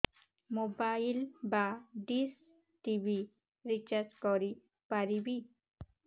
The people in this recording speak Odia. ମୋବାଇଲ୍ ବା ଡିସ୍ ଟିଭି ରିଚାର୍ଜ କରି ପାରିବି